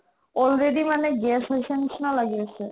already মানে gas হৈছে নিচিনা লাগি আছে